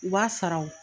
U b'a saraw